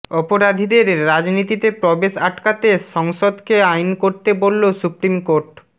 অপরাধীদের রাজনীতিতে প্রবেশ আটকাতে সংসদকে আইন করতে বলল সুপ্রিম কোর্ট